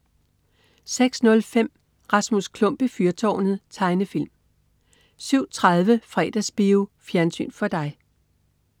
06.05 Rasmus Klump i fyrtårnet. Tegnefilm 07.30 Fredagsbio. Fjernsyn for dig